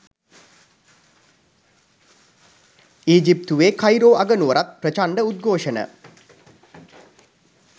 ඊජිප්තුවේ Cairo අගනුවරත් ප්‍රචණ්ඩ උද්ඝෝෂණ